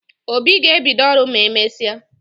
Obi ga ebido oru ma emesia